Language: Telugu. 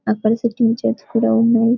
అక్కడ సిట్టింగ్ చైర్స్ కూడా ఉన్నాయి.